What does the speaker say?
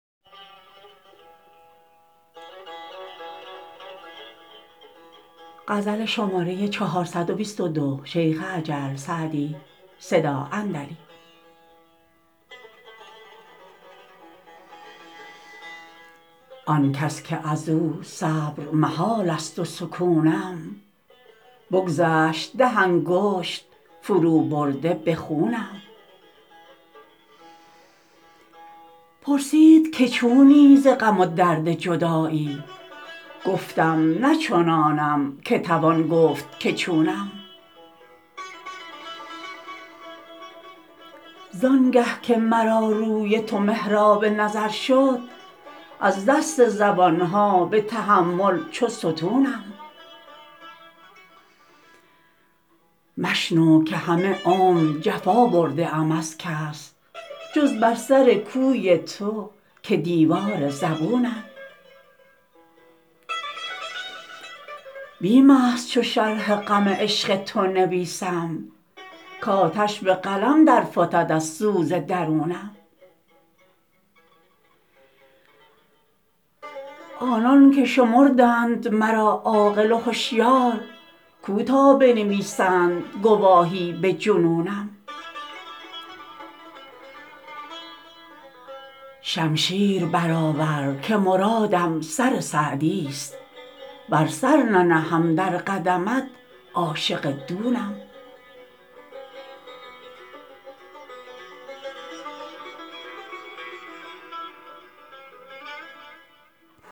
آن کس که از او صبر محال است و سکونم بگذشت ده انگشت فروبرده به خونم پرسید که چونی ز غم و درد جدایی گفتم نه چنانم که توان گفت که چونم زان گه که مرا روی تو محراب نظر شد از دست زبان ها به تحمل چو ستونم مشنو که همه عمر جفا برده ام از کس جز بر سر کوی تو که دیوار زبونم بیم است چو شرح غم عشق تو نویسم کآتش به قلم در فتد از سوز درونم آنان که شمردند مرا عاقل و هشیار کو تا بنویسند گواهی به جنونم شمشیر برآور که مرادم سر سعدیست ور سر ننهم در قدمت عاشق دونم